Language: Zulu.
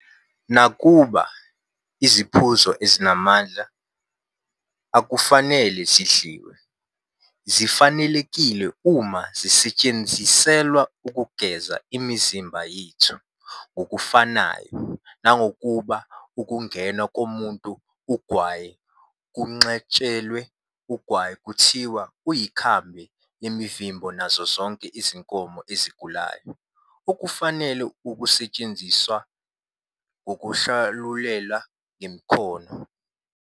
Nakuba "iziphuzo ezinamandla" akufanele zidliwe, zifanelekile uma zisetshenziselwa "ukugeza imizimba yenu", ngokufanayo, nakuba ukungenwa komuntu ugwayi kwenqatshelwe, ugwayi kuthiwa "uyikhambi lemivimbo nazo zonke izinkomo ezigulayo, okufanele usetshenziswe ngokwahlulela nangekhono".